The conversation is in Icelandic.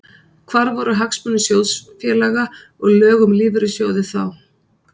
Hvar voru hagsmunir sjóðfélaga og lög um lífeyrissjóði þá?